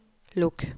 luk